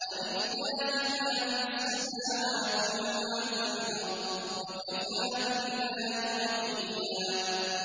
وَلِلَّهِ مَا فِي السَّمَاوَاتِ وَمَا فِي الْأَرْضِ ۚ وَكَفَىٰ بِاللَّهِ وَكِيلًا